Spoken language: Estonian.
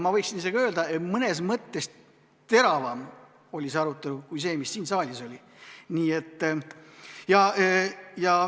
Ma võiksin isegi öelda, et mõnes mõttes oli see arutelu teravam kui see, mis siin saalis oli.